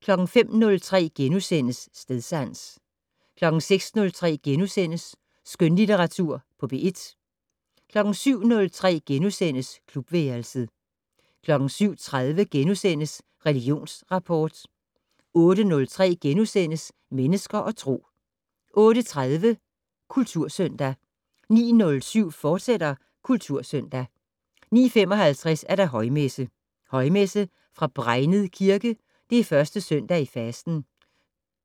05:03: Stedsans * 06:03: Skønlitteratur på P1 * 07:03: Klubværelset * 07:30: Religionsrapport * 08:03: Mennesker og Tro * 08:30: Kultursøndag 09:07: Kultursøndag, fortsat 09:55: Højmesse - Højmesse fra Bregnet Kirke. 1. søndag i fasten.